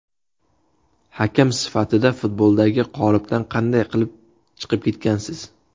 Hakam sifatida futboldagi qolipdan qanday qilib chiqib ketgansiz?